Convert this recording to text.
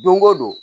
Don go don